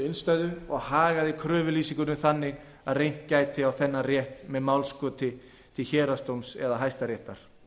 innstæðu og hagaði kröfulýsingunni þannig að reynt gæti á þennan rétt með málskoti til héraðsdóms eða hæstaréttar